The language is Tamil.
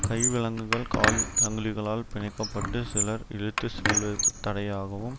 கை விலங்குகள் கால் சங்கிலிகளால் பிணைக்கப்பட்டு சிலர் இழுத்து செல்லுத்தடையாகவும்